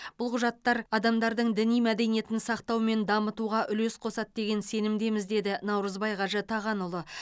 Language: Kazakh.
бұл құжаттар адамдардың діни мәдениетін сақтау мен дамытуға үлес қосады деген сенімдеміз деді наурызбай қажы тағанұлы